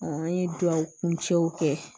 an ye duwawu kuncɛw kɛ